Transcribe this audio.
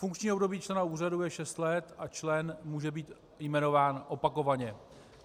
Funkční období člena úřadu je šest let a člen může být jmenován opakovaně.